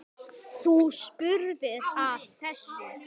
Þú spurðir að þessu.